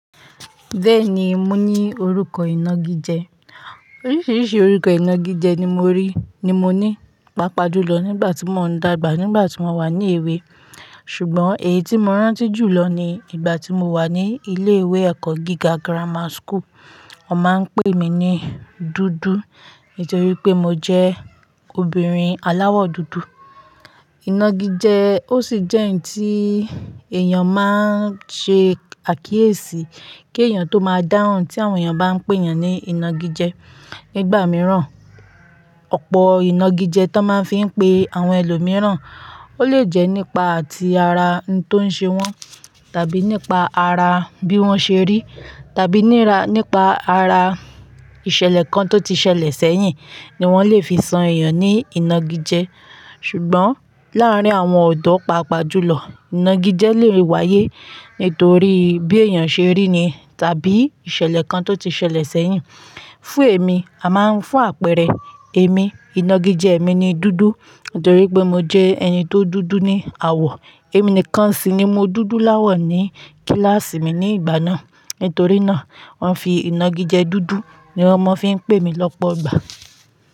Bẹ́ẹ̀ni, mo ní orúkọ ìnagijẹ. Oríṣiríṣi orúkọ ìnagijẹ ni mo rí, ni mo ní, pàápàá jùlọ nígbà tí mò ń dàgbà, nígbà tí mo wà ní èwe. Ṣùgbọ́n èyí tí mo rántí jùlọ ni ìgbà tí mo wà ní ilé ìwé ẹ̀kọ́ gíga Grammar School. Wọ́n máa ń pè mí ní dúdú nítorí pé mo jẹ́ obìnrin aláwọ̀ dúdú. Ìnagijẹ, ó sì jẹ́ ǹ tí èèyàn máa ń ṣe àkíyèsí kí èèyàn tó máa dáhùn tí àwọn èèyàn bá ń pè èèyàn ní ìnagijẹ. Nígbà mìíràn, ọ̀pọ̀ ìnagijẹ tó máa ń fi ń pe àwọn ẹlòmíràn, ó lè jẹ́ nípa ti ara ǹ tó ń ṣe wọ́n, tàbí nípa ara bí wọ́n ṣe rí, tàbí nira, nípa ara ìṣẹ̀lẹ̀ kan tó ti ṣẹlẹ̀ sẹ́yìn ni wọ́n lè fi san èèyàn ní ìnagijẹ. Ṣùgbọ́n láàárín àwọn ọ̀dọ́ pàápàá jùlọ, ìnagijẹ lè wáyé nítorí bí èèyàn ṣe rí ni tàbí ìṣẹ̀lẹ̀ kan tó ti ṣẹlẹ̀ sẹ́yìn. Fún èmi, a máa ń fún àpẹẹrẹ, èmi ìnagijẹ mi ni dúdú nítorí pé mo jẹ́ ẹni tó dúdú ní àwọ̀. Èmi nìkan sì ni mo dúdú láwọ̀ ní kíláàsì mi ní ìgbà náà. Nítorí náà, wọ́n fi ìnagijẹ dúdú ni wọ́n máa fi ń pè mí lọ́pọ̀ ìgbà.